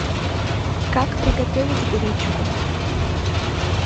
как приготовить гречку